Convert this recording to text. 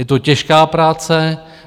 Je to těžká práce.